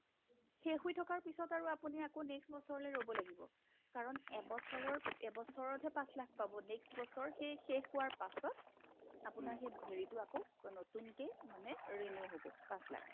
শেষহৈ থকাৰ পিছত আৰু আকৌ আপুনি next বছৰলে ৰ'ব লাগিব কাৰণ এবছৰৰ এবছৰতহে পাচ লাখ পাব next বছৰ সেই শেষ হোৱাৰ পাছত আপোনাৰ সেই হেৰিটো আকৌ নতুনকে মানে renew হ'ব পাচ লাখ